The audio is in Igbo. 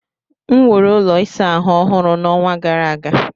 M wuru ụlọ ịsa ahụ ọhụrụ n'ọnwa gara aga.